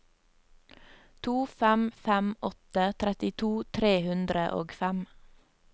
to fem fem åtte trettito tre hundre og fem